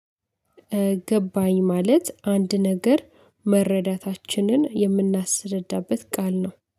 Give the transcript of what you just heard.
ገባኝ ማለት አንድ ነገር መረዳታችንን የምናስረዳበት ቃል ነው